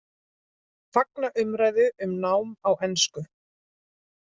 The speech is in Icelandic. Fagna umræðu um nám á ensku